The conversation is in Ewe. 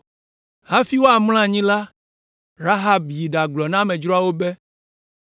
Hafi woamlɔ anyi la, Rahab yi ɖagblɔ na amedzroawo be,